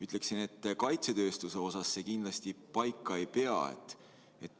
Ütleksin, et kaitsetööstuses see kindlasti paika ei pea.